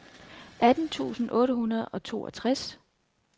atten tusind otte hundrede og toogtres